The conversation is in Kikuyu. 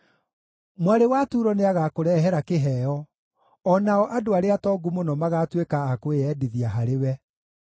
Mwarĩ wa Turo nĩagakũrehera kĩheo, o nao andũ arĩa atongu mũno magatuĩka a kwĩyendithia harĩwe.